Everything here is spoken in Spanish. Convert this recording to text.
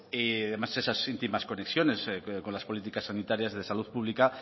y además esas íntimas conexiones con las políticas sanitarias de salud pública